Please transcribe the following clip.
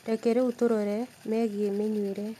Reke rĩu tũrore megiĩ mĩnyuĩre